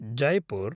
Jaipur